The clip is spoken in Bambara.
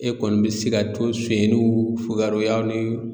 E kɔni bɛ se ka to sonyɛnniw fokaroya ni